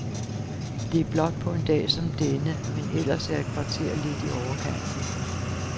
Det er flot på en dag som denne, men ellers er et kvarter lidt i overkanten.